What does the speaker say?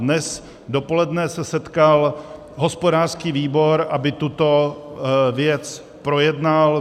Dnes dopoledne se setkal hospodářský výbor, aby tuto věc projednal.